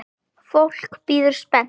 Fólk bíður spennt.